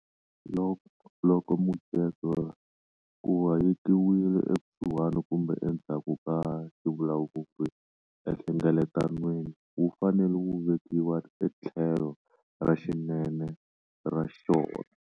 Loko mujeko ku hayekiwile ekusuhi kumbe endzhaku ka xivulavuri enhlengeletanweni, wu fanele wu vekiwa etlhelo ra xinene ra xona.